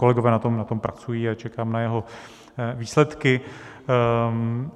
Kolegové na tom pracují a čekám na jeho výsledky.